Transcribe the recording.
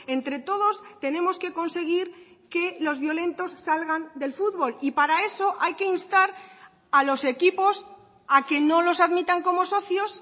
entre todos tenemos que conseguir que los violentos salgan del futbol y para eso hay que instar a los equipos a que no los admitan como socios